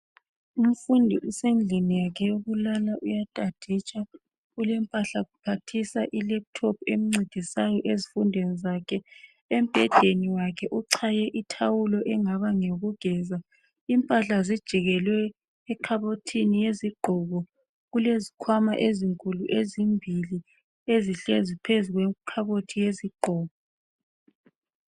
Umfundi usendlini yakhe yokufundela uyastuditsha ule laptop emncedisayo ezifundweni zakhe embhedeni wakhe uchaye ithawulo elingaba ngelokugeza impahla zakhe zijikelwe ekhabothini yezigqoke kulezikhwama ezinkulu ezimbili ezihlezi phezu kwekhabothi yezigqoko